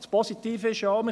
Das Positive ist nämlich: